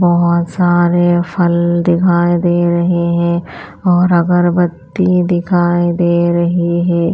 बहुत सारे फल दिखाई दे रहे हैं और अगरबत्ती दिखाई दे रही है।